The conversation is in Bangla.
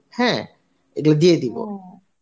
হ্যাঁ এগুলো দিয়ে